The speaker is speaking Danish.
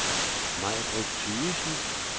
Maibritt Thygesen